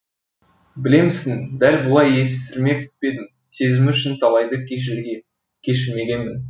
білемісің дәл бұлай есірмеп едім сезімі үшін талайды кешірмегемін